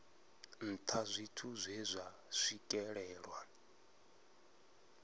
nṱha zwithu zwe zwa swikelelwa